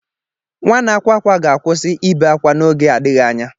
Nwa na-akwa akwa ga-akwụsị ibe ákwá n'oge adịghị anya.